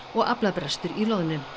og aflabrestur í loðnu